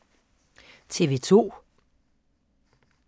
TV 2